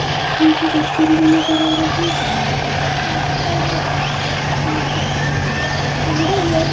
नीचे डस्टबिन भी नजर आ रहे हैं।